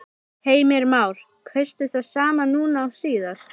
Heimir Már: Kaustu það sama núna og síðast?